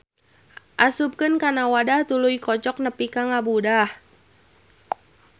Asupkeunkana wadah tuluy kocok nepi ka ngabudah.